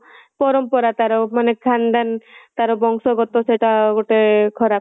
ପରମ୍ପରା ତାର ମାନେ ଖାନଦାନ ତାର ବଂଶ ଗତ ସେଇଟା ଗୋଟେ ତାର ଖରାପ